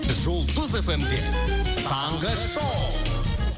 жұлдыз эф эм де таңғы шоу